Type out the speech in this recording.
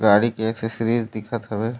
गाड़ी के एक्सेसरीज दिखत हावे।